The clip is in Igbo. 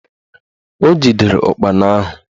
O jidere ụkpana ahụ